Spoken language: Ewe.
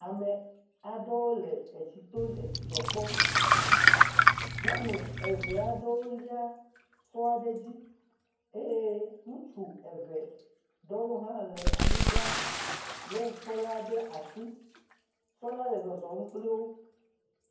Ame aɖewo le etsi to le dzidzɔ kpɔm. Nyɔnu eve aɖewo lia sɔ aɖe dzi eye ŋutsu eve ɖewo hã le anyigba lé sɔ la ɖe asi. Sɔ la le zɔzɔm kpli wo